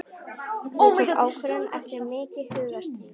Ég tók ákvörðun eftir mikið hugarstríð.